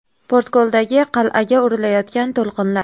Portkoldagi qal’aga urilayotgan to‘lqinlar.